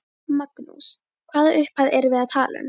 Magnús: Hvaða upphæð erum við að tala um?